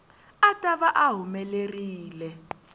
a ta va a humelerile